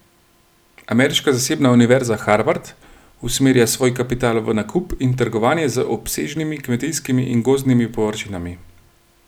Ameriška zasebna univerza Harvard usmerja svoj kapital v nakup in trgovanje z obsežnimi kmetijskimi in gozdnimi površinami.